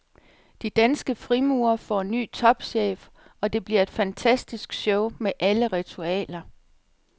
De danske frimurere får ny topchef, og det bliver et fantastisk show med alle ritualer.